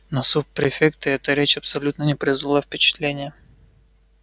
на суб-префекта эта речь абсолютно не произвела впечатления